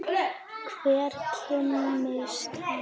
Hver kimi hans.